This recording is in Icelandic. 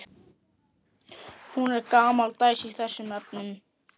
Hún er gamaldags í þessum efnum.